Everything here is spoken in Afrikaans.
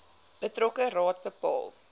betrokke raad bepaal